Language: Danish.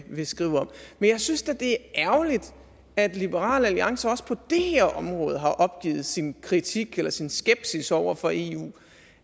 vil skrive om men jeg synes da det er ærgerligt at liberal alliance også på det her område har opgivet sin kritik eller sin skepsis over for eu